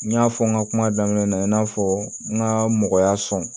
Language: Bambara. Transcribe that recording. N y'a fɔ n ka kuma daminɛ na i n'a fɔ n ka mɔgɔya sɔn